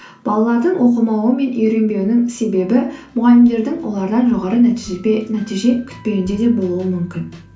балалардың оқымауы мен үйренбеуінің себебі мұғалімдердің олардан жоғары нәтиже күтпеуінде де болуы мүмкін